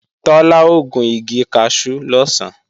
Tọ́lá ó gun igi kaṣú lọ̀sán